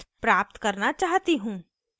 debitamount से text प्राप्त करना चाहती हूँ